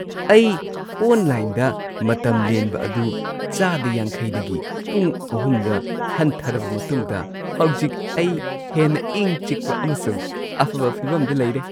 ꯑꯩ ꯑꯣꯟꯂꯥꯏꯟꯗ ꯃꯇꯝ ꯂꯦꯟꯕ ꯑꯗꯨ ꯆꯥꯗ ꯵꯰ ꯗꯒꯤ ꯄꯨꯡ ꯳ꯗ ꯍꯟꯊꯔꯕ ꯃꯇꯨꯡꯗ ꯍꯧꯖꯤꯛ ꯑꯩ ꯍꯦꯟꯅ ꯏꯪ ꯆꯤꯛꯄ ꯑꯃꯁꯨꯡ ꯑꯐꯕ ꯐꯤꯚꯝꯗ ꯂꯩꯔꯦ꯫ (ꯃꯤꯑꯣꯏ ꯲)